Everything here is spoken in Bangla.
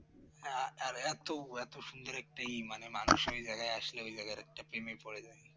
হ্যাঁ আর এত এত সুন্দর একটা এই মানে মানুষ ওই জায়গায় আসলে ওই জায়গার একটা প্রেমে পড়ে যায়